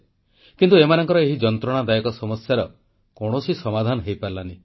କିନ୍ତୁ ଏମାନଙ୍କର ଏହି ଯନ୍ତ୍ରଣାଦାୟକ ସମସ୍ୟାର କୌଣସି ସମାଧାନ ହୋଇପାରିଲା ନାହିଁ